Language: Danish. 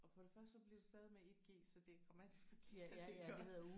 Og for det første så bliver det stavet med 1 G så det er grammatisk forkert iggås